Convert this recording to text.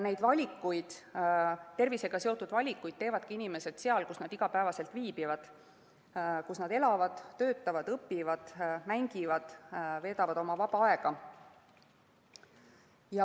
Neid tervisega seotud valikuid teevadki inimesed seal, kus nad iga päev viibivad, kus nad elavad, töötavad, õpivad, mängivad ja veedavad oma vaba aega.